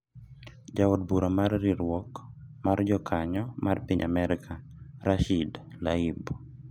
Ja od bura mar riwruok mar jokanyo ma piny Amerka, Rashid Tlaib